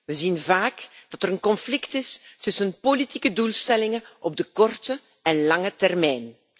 We zien vaak dat er een conflict is tussen politieke doelstellingen op de korte en lange termijn.